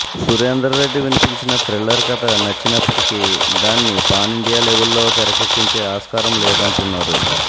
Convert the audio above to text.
సురేందర్ రెడ్డి వినిపించిన థ్రిల్లర్ కథ నచ్చినప్పటికీ దాన్ని పాన్ ఇండియన్ లెవెల్లో తెరకెక్కించే ఆస్కారం లేదంటున్నారు